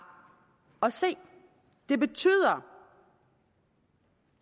at se det betyder